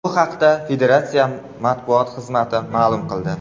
Bu haqda Federatsiya matbuot xizmati ma’lum qildi .